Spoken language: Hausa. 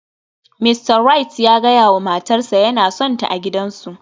Mista Wright ya gaya wa matarsa ​​yana sonta a gidansu